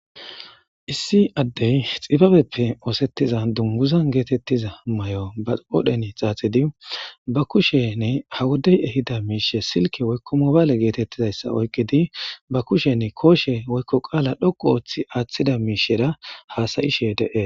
issi addey xibabeppe oosettiza dunguzan geetettiza may7o ba oodhen xaaxidi ba kushenne hawudey ehida miishe silke woykko mobaale geetettidayssa oykqidi ba kushenne kooshe woykko qaala dhoqu ooththi aaththida miishera haasayishe de'es